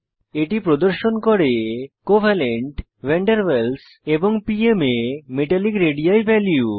এটি প্রদর্শন করে কোভালেন্ট ভান ডের ওয়ালস এবং পিএম এ মেটালিক রেডি ভ্যালু